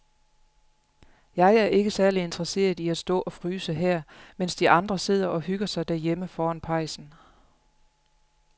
Jeg er ikke særlig interesseret i at stå og fryse her, mens de andre sidder og hygger sig derhjemme foran pejsen.